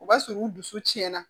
O b'a sɔrɔ u dusu cɛnna